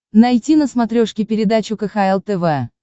найти на смотрешке передачу кхл тв